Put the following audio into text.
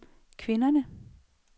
kvinderne